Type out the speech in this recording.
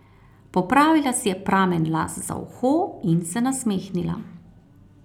Popravila si je pramen las za uho in se nasmehnila.